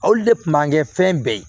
Aw de kun b'an kɛ fɛn bɛɛ ye